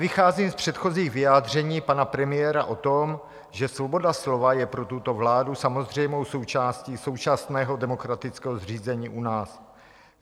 Vycházím z předchozích vyjádření pana premiéra o tom, že svoboda slova je pro tuto vládu samozřejmou součástí současného demokratického zřízení u nás.